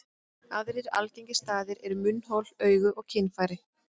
Aðrir algengir staðir eru munnhol, augu og kynfæri.